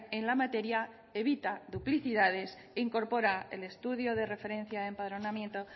en la materia evita duplicidades e incorpora el estudio de referencia de empadronamiento